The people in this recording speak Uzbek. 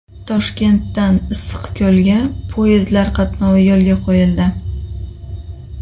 Toshkentdan Issiqko‘lga poyezdlar qatnovi yo‘lga qo‘yildi.